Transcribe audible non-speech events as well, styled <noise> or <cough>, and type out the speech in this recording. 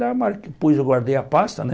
<unintelligible> Depois eu guardei a pasta, né?